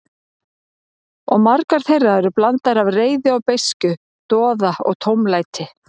Og margar þeirra eru blanda af reiði og beiskju, doða og tómlæti.